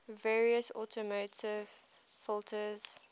various automotive filters